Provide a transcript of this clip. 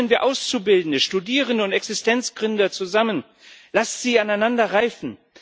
Bringen wir Auszubildende, Studierende und Existenzgründer zusammen, lasst sie aneinander reifen!